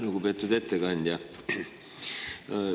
Lugupeetud ettekandja!